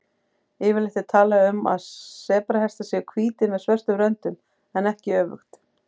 Yfirleitt er talað um að sebrahestar séu hvítir með svörtum röndum en ekki öfugt.